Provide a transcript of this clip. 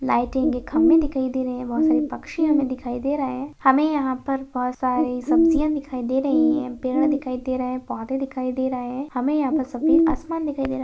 लाइटें के खंभे दिखाई दे रहें हैं बहुत सारे पक्षी हमें दिखाई दे रहें हैं हमे यहाँ पर बहुत सारी सब्जियाँ दिखाई दे रहीं हैं पेड़ दिखाई दे रहें हैं पौधे दिखाई दे रहें हैं हमें यहाँ पर सफ़ेद आसमान दिखाई दे रहा है।